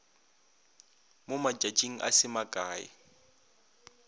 mo matšatšing a se makae